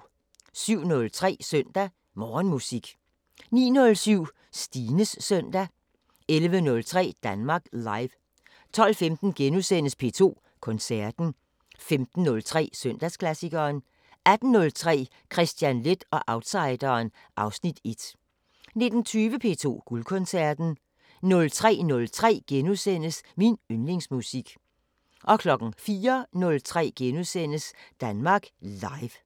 07:03: Søndag Morgenmusik 09:07: Stines søndag 11:03: Danmark Live 12:15: P2 Koncerten * 15:03: Søndagsklassikeren 18:03: Kristian Leth og outsideren (Afs. 1) 19:20: P2 Guldkoncerten 03:03: Min yndlingsmusik * 04:03: Danmark Live *